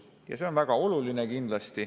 See on kindlasti väga oluline.